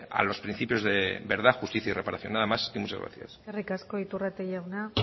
a los principios de verdad justicia y reparación nada más y muchas gracias eskerrik asko iturrate jauna